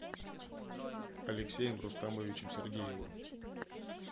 алексеем рустамовичем сергеевым